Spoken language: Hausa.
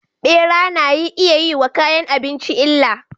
Bera nayi iyayi wa kayan abinci illa